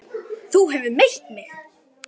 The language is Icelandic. Þú hefur meitt þig!